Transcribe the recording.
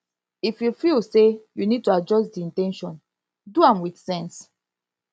if you feel sey you need to adjust di in ten tion do am with sense